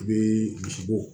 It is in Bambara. I bɛ dusu bɔ